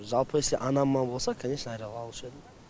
жалпы если анама болса канешна алушы едім